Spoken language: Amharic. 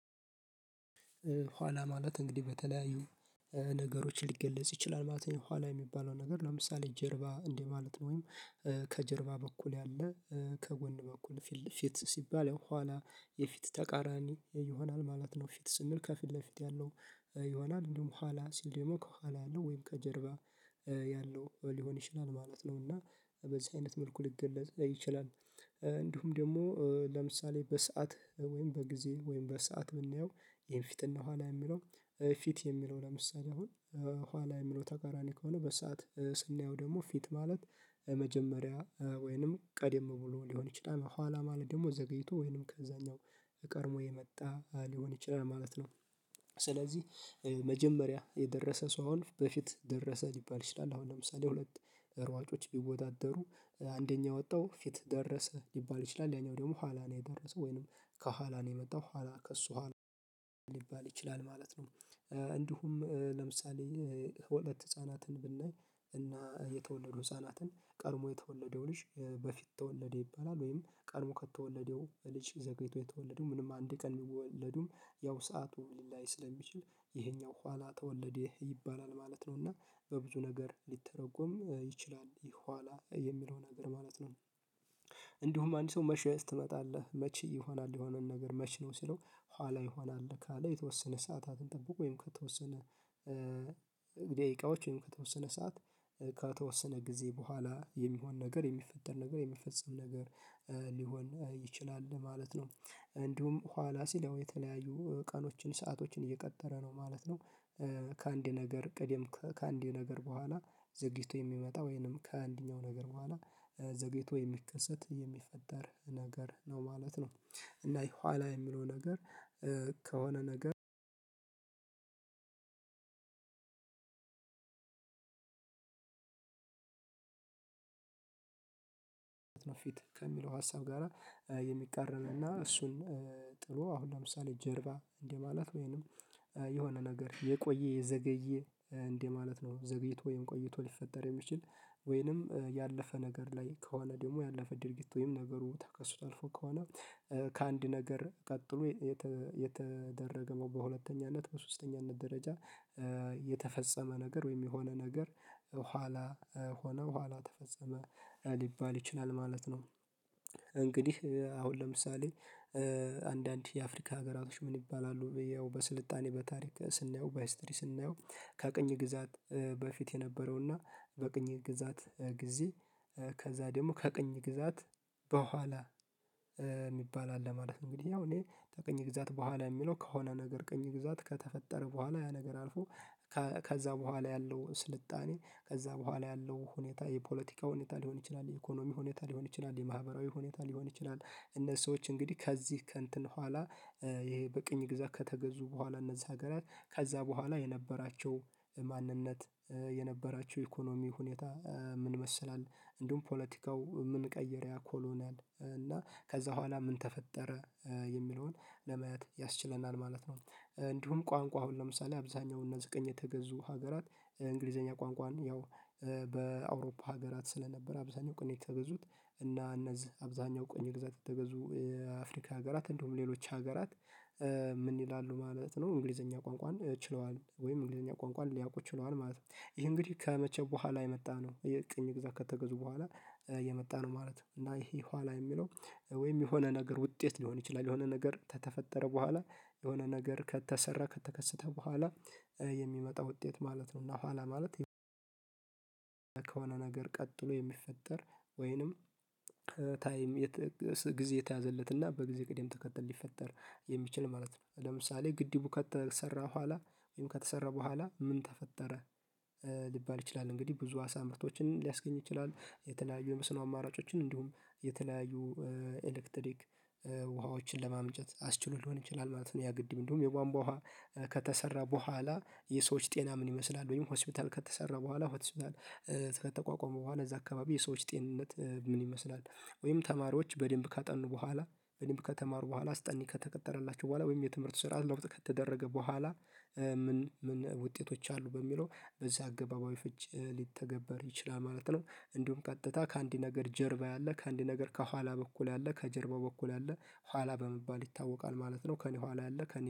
ኋላ ማለት እንግዲህ በተለያዩ ነገሮችን ሊገለጽ ይችላል ማለት ነው። ኋላ የሚባለው ነገር ለምሳሌ ጀርባ እንዴ ማለት ነው ወይም በኩል ያለ ከጎን በኩል ፊት ሲባል ያው በኋላ የፊት ተቃራኒ ይሆናል ማለት ነው። ፊት ስንል ከፊት ለፊት ያለው ይሆናል እንዲሁም በኋላ ሲል ደግሞ ከኋላ ያለው ወይም ከጀርባ ያለው ሊሆን ይችላል ማለት ነው። እና በዚህ አይነት መልኩ ሊገለጽ ይችላል። እንዲሁም ደግሞ ለምሳሌ በሰአት ወይም በጊዜ ወይም በሰአት ብናየው ይሄን ፊት እና ኋላ የሚለው ፊት የሚለው ለምሳሌ አሁን ኋላ የሚለው ተቃራኒ ከሆነ በሰአት ስናየው ደግሞ ፊት ማለት መጀመሪያ ወይንም ቀድም ብሎ ሊሆን ይችላል ኋላ ማለት ደግሞ ዘግይቶ ወይንም ከዛኛው አቀርቦ የመጣ ሊሆን ይችላል ማለት ነው። ስለዚህ መጀመሪያ የደረሰ ሰው በፊት ደረሰ ሊባል ይችላል። አሁን ለምሳሌ ሁለት ሯጮች ቢወዳደሩ አንደኛ የወጣው ፊት ደረሰ ሊባል ይችላል ያኛው ደግሞ ኋላ ነው የደረሰው ወይንም ከኋላ ነው የመጣው ኋላ ከእሱ ኋላ ሊባል ይችላል ማለት ነው። እንዲሁም ለምሳሌ ሁለት ህፃናትን ብናይ እና የተወለዱ ህፃናትን ቀድሞ የተወለደው ልጅ በፊት ተወለደ ይባላል ወይም ቀድሞ ከተወለደው ልጅ ዘግይቶ የተወለዱ ምንም አንድ ቀን የሚወለዱም ያው ሰዓቱ ሊላይ ስለሚችል ይሄኛው ኋላ ተወለደ ይባላል ማለት ነው። እና በብዙ ነገር ሊተረጎም ይችላል ይህ ኋላ የሚለውን ነገር ማለት ነው። እንዲሁም አንዲት ሰው መቼ ትመጣለህ መቼ ይሆናል የሆነን ነገር መቼ ነው ሲለው ኋላ ይሆናል ካለ የተወሰነ ሰዓታትን ጠብቆ ወይም ከተወሰነ ደቂቃዎች ወይም ከተወሰነ ሰዓት ከተወሰነ ጊዜ በኋላ የሚሆን ነገር የሚፈጠር ነገር የሚፈጸም ነገር ሊሆን ይችላል ማለት ነው። እንዲሁም ኋላ ሲለው የተለያዩ ቀኖችን ሰአቶችን እየቀጠረ ነው ማለት ነው። ከአንድ ነገር ቀደም ከአንድ ነገር በኋላ ዝግይቶ የሚመጣ ወይንም ከአንደኛው ነገር በኋላ ዘግይቶ የሚከሰት የሚፈጠር ነገር ነው ማለት ነው። እና ይሄ ኋላ የሚለው ነገር ከሆነ ነገር ነው ፊት ፊት ከሚለው ሀሳብ ጋራ የሚቃረን እና እሱን ጥሩ አሁን ለምሳሌ ጀርባ እንደማለት ወይንም የሆነ ነገር የቆየ የዘገየ እንዴ ማለት ነው። ዘግይቶ ወይም ቆይቶ ሊፈጠር የሚችል ወይንም ያለፈ ነገር ላይ ከሆነ ደግሞ ያለፈ ድርጊት ወይም ነገሩ ተከስቶ አልፎ ከሆነ ከአንድ ነገር ቀጥሎ የተደረገው በሁለተኛነት በሶስተኛነት ደረጃ የተፈጸመ ነገር ወይም የሆነ ነገር ኋላ ሆኖ በኋላ ተፈጸመ ሊባል ይችላል ማለት ነው። እንግዲህ አሁን ለምሳሌ አንዳንድ የአፍሪካ ሀገራቶች ምን ይባላሉ? በስልጣኔ በታሪክ ስናየው በሂስትሪ ስናየው ከቅኝ ግዛት በፊት የነበረውና በቅኝ ግዛት ጊዜ ከዛ ደግሞ ከቅኝ ግዛት በኋላ የሚባል አለ። ማለት እንግዲህ ያው እኔ ከቅኝ ግዛት በኋላ የሚለው ከሆነ ነገር ቅኝ ግዛት ከተፈጠረ በኋላ ያ ነገር አልፎ ከዛ በኋላ ያለው ስልጣኔ ከዛ በኋላ ያለው ሁኔታ የፖለቲካ ሁኔታ ሊሆን ይችላል የኢኮኖሚ ሁኔታ ሊሆን ይችላል የማህበራዊ ሁኔታ ሊሆን ይችላል። እነዚህ ሰዎች እንግዲህ ከዚህ ከእንትን በኋላ ይሄ በቅኝ ግዛት ከተገዙ በኋላ እነዛ ሀገራት ከዛ በኋላ የነበራቸው ማንነት የነበራቸው ኢኮኖሚ ሁኔታ ምን ይመሰላል? እንዲሁም ፖለቲካው ምን ቀየረ ያ ኮሎኔል እና ከዛ በኋላ ምን ተፈጠረ? የሚለውን ለመያዝ ያስችለናል ማለት ነው። እንዲሁም ቋንቋ አሁን ለምሳሌ አብዛኛው እነዚህ ቀኝ የተገዙ ሀገራት እንግሊዘኛ ቋንቋን ያው በአውሮፓ ሀገራት ስለነበር አብዛኛው ቅኝ የተገዙት እና እነዚህ አብዛኛው ቅኝ ግዛት የተገዙ የአፍሪካ ሀገራት እንዲያውም ሌሎች ሀገራት ይላሉ ማለት ነው። እንግሊዘኛ ቋንቋን ችለዋል ወይም እንግሊዘኛ ቋንቋን ሊያውቁ ይችላል ማለት ነው። ይህ እንግዲህ ከመቼ በኋላ የመጣነው የቅኝ ግዛት ከተገዙ በኋላ የመጣ ነው ማለት ነው። እና ይሄ ኋላ የሚለው ወይም የሆነ ነገር ውጤት ሊሆን ይችላል የሆነ ነገር ከተፈጠረ በኋላ የሆነ ነገር ከተሰራ ከተከሰተ በኋላ የሚመጣው ውጤት ማለት ነው። እና ኋላ ማለት ከሆነ ነገር ቀጥሎ የሚፈጠር ወይንም ታይም ጊዜ የተያዘለትና በጊዜ ቅዴም ተከተል ሊፈጠር የሚችል ማለት ነው። ለምሳሌ ግድቡ ከተሰራ በኋላ ወይም ከተሰራ በኋላ ምን ተፈጠረ? ሊባል ይችላል እንግዲህ ብዙ አሳ ምርቶችን ሊያስገኝ ይችላል የተለያዩ የመስኖ አማራጮችን እንዲሁም የተለያዩ ኤሌክትሪክ ውሃዎችን ለማመንጨት አስችሎ ሊሆን ይችላል ማለት ነው። ያ ግድም እንደውም የቧንቧ ውሃ ከተሰራ በኋላ የሰዎች ጤና ምን ይመስላል? ወይም ሆስፒታል ከተሰራ በኋላ ሆስፒታል ስህተት ተቋቋመ በኋላ እዛ አካባቢ የሰዎች ጤንነት ምን ይመስላል? ወይም ተማሪዎች በደንብ ካጠኑ በኋላ በደንብ ከተማሩ በኋላ አስጠንቂ ከተቀጠረላቸው በኋላ ወይም የትምህርት ስራ ለውጥ ከተደረገ በኋላ ምን ምን ውጤቶች አሉ በሚለው በዚህ አገባባዊ ፍቺ ሊተገበር ይችላል ማለት ነው። እንዲሁም ቀጥታ ከአንዲት ነገር ጀርባ ያለ ከአንዲት ነገር ከኋላ በኩል ያለ ከጀርባው በኩል ያለ ኋላ በመባል ይታወቃል ማለት ነው። ከእኔ ኋላ ያለ ከእኔ